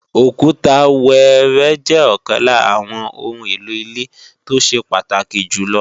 Òkúta wẹẹrẹ jẹ́ ọ̀kan lára àwọn oun èlò ilé tó ṣe pàtàkì jù lọ